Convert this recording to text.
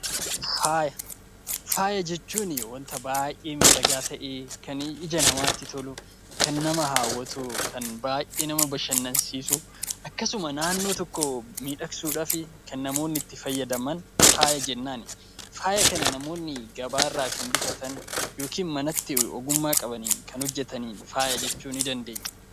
Faaya jechuun wanta baay'ee miidhagaa ta'ee kan ija namatti tolu kan nama hawwatu kan baay'ee nama bashannansiisu akkasuma naannoo tokkoo miidhagsuudhaaf kan namoonni itti fayyadaman faaya jennaan. Faaya kana namoonni gabaarraa kan bitatan yookiin manatti ogummaa qabaniin kan hojjatanii faaya jennaan.